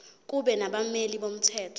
kube nabameli bomthetho